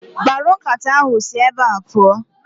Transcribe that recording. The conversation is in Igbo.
Mkparu nkata ahụ si ébé pụọ